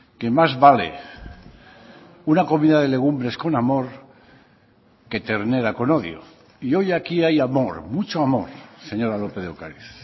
que más vale una comida de legumbres con amor que ternera con odio y hoy aquí hay amor mucho amor señora lópez de ocariz